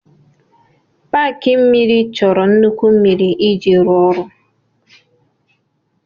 Paaki mmiri chọrọ nnukwu mmiri iji rụọ ọrụ.